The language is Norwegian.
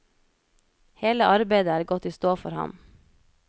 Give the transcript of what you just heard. Hele arbeidet er gått i stå for ham.